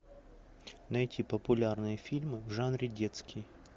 найти популярные фильмы в жанре детский